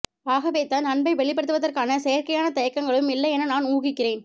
ஆகவேதான் அன்பை வெளிப்படுத்துவதற்கான செயற்கையான தயக்கங்களும் இல்லை என நான் ஊகிக்கிறேன்